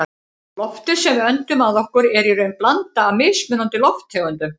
Loftið sem við öndum að okkur er í raun blanda af mismunandi lofttegundum.